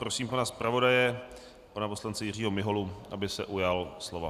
Prosím pana zpravodaje, pana poslance Jiřího Miholu, aby se ujal slova.